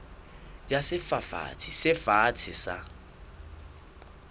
ya sefafatsi se fatshe sa